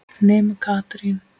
Nema Katrín.